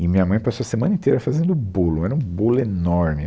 E a minha mãe passou a semana inteira fazendo bolo, era um bolo enorme.